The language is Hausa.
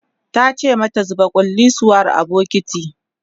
tace mata "zuba kullisuwar a bukitin!"